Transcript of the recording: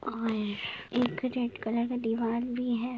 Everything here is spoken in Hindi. और एक रेड कलर का दिवार भी है।